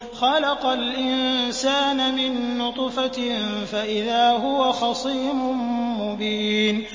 خَلَقَ الْإِنسَانَ مِن نُّطْفَةٍ فَإِذَا هُوَ خَصِيمٌ مُّبِينٌ